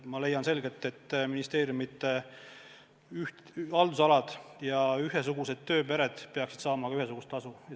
Ma leian, et ministeeriumide haldusalad ja ühesugused tööpered peaksid saama ühesugust tasu.